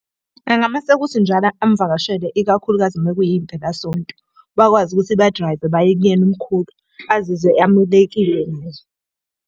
Engameseka ukuthi njalo amuvakashele ikakhulukazi uma kuyi mpelasonto. Bakwazi ukuthi ba-drive-e baye kuyena umkhulu, azizwe amukelekile nazo.